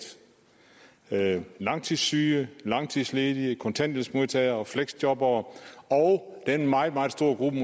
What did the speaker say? der er langtidssyge langtidsledige kontanthjælpsmodtagere fleksjobbere og den meget meget store gruppe